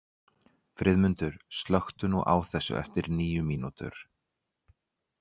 Friðmundur, slökktu á þessu eftir níu mínútur.